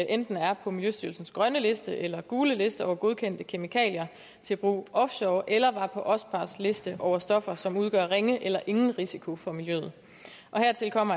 enten er på miljøstyrelsens grønne liste eller gule liste over godkendte kemikalier til brug offshore eller var på ospars liste over stoffer som udgør ringe eller ingen risiko for miljøet hertil kommer